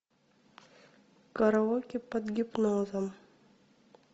караоке под гипнозом